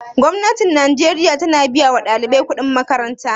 Gwamnatin najeriya ta na biya wa ɗalibai kuɗin makaranta?